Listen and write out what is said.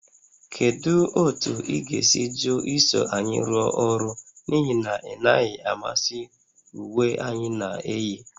Kedu otu ị ga - esi jụ iso anyị rụọ ọrụ n'ihi na ị naghị amasị uwe anyị na-eyi?